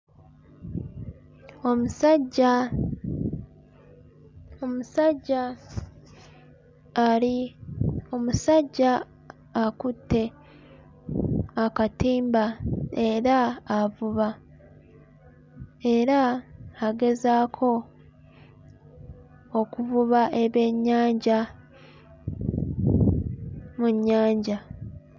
Omusajja omusajja ali, omusajja akutte akatimba era avuba era agezaako okuvuba ebyennyanja mu nnyanja.